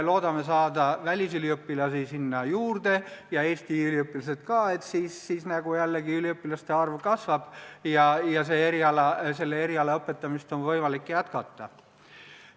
Loodame saada juurde välisüliõpilasi – ja Eesti üliõpilasi ka –, et üliõpilaste arv kasvaks ja selle eriala õpetamist oleks võimalik jätkata.